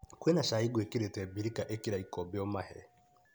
Kwĩna cai gwĩkĩrĩte birika ĩkĩra ikombe ũmahe.